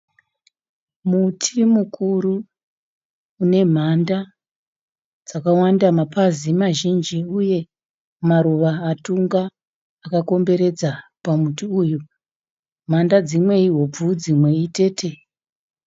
Muti mukuru une mhanda dzakawanda, mapazi mazhinji uye maruva atunga akakomberedza pamuti uyu. Mhanda dzimwe ihobvu, dzimwe itete.